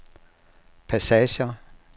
passager